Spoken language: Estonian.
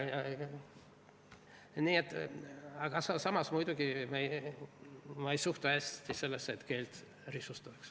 Ent muidugi, ma ei suhtu hästi sellesse, et keelt risustatakse.